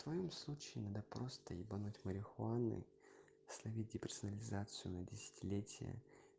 в твоём случае надо просто ебануть марихуаной словить деперсонализацию на десятилетие